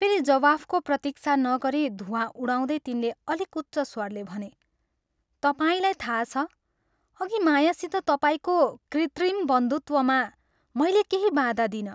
फेरि जवाफको प्रतीक्षा नगरी धूवाँ उडाउँदै तिनले अलिक उच्च स्वरले भने, " तपाईंलाई थाहा छ, अघि मायासित तपाईंको कृत्रिम बन्धुत्वमा मैले केही बाधा दिइनँ।